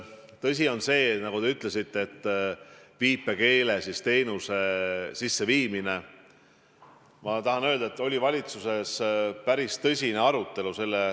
Mis puutub viipekeele teenuse sisseviimisesse, siis ma tahan öelda, et valitsuses oli selle üle päris tõsine arutelu.